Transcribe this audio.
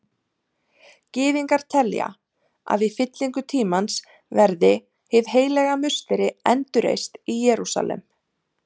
Gyðingar telja að í fyllingu tímans verði Hið heilaga musteri endurreist í Jerúsalem.